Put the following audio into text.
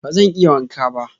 Bazan iya wanka ba.